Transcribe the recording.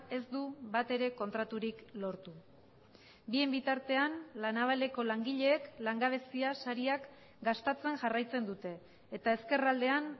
ez du batere kontraturik lortu bien bitartean la navaleko langileek langabezia sariak gastatzen jarraitzen dute eta ezkerraldean